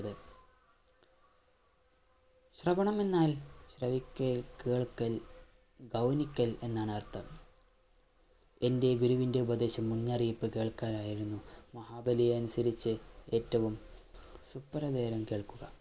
ശ്രവണം എന്നാൽ ശ്രവിക്കാൻ, കേൾക്കൽ, ഗൗനിക്കൽ എന്നാണ് അർഥം എന്റെ ഗുരുവിന്റെ ഉപദേശം മുന്നറിയിപ്പ് കേൾക്കാനായിരുന്നു മഹാബലി അനുസരിച്ചു ഏറ്റവും ശുഭ്ര നേരം കേൾക്കുക